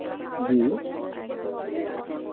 জী